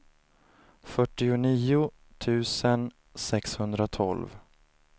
fyrtionio tusen sexhundratolv